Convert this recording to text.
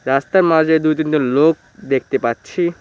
রাস্তার মাঝে দুই তিনটে লোক দেখতে পাচ্ছি।